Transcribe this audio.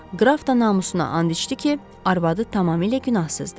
Qraf da namusuna and içdi ki, arvadı tamamilə günahsızdır.